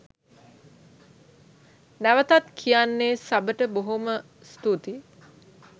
නැවතත් කියන්නේ සබට බොහොම ස්තූතියි.